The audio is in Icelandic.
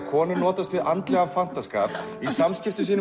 konur notast við andlegan fantaskap í samskiptum